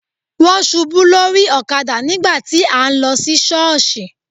Wón ṣubú lórí ọ̀kadà nígbà tí à ń lọ sí sọọsi.